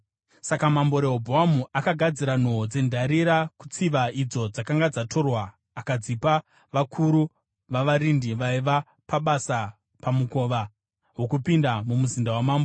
Saka Mambo Rehobhoamu akagadzira nhoo dzendarira kutsiva idzo dzakanga dzatorwa akadzipa vakuru vavarindi vaiva pabasa pamukova wokupinda mumuzinda woumambo.